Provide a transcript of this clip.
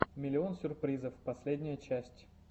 миллион сюрпризов последняя часть